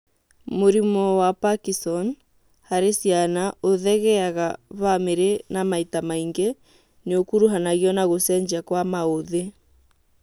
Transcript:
Mũrimũ wa Parkison harĩ ciana ũthegeaga bamiri-inĩ na maita maingĩ nĩũkuruhanagio na gũcenjia kwa maũthĩ